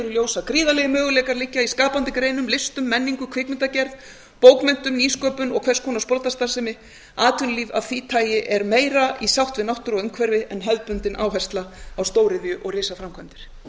ljós að gríðarlegir möguleikar liggja í skapandi greinum listum menningu kvikmyndagerð bókmenntum nýsköpun og hvers konar sprotastarfsemi atvinnulíf af því tagi er meira í sátt við náttúru og umhverfi en hefðbundin áhersla á stóriðju og risaframkvæmdir